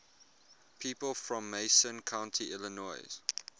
people from macon county illinois